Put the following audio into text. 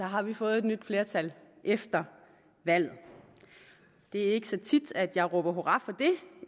har vi fået nyt flertal efter valget det er ikke så tit at jeg råber hurra for